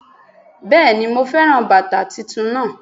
Béèni mo féràn bàtà titun naa